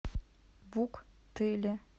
вуктыле